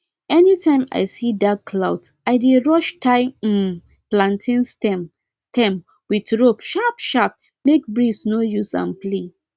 anytime i see dark cloud i dey rush tie um plantain stem stem with rope sharpsharp make breeze no use am play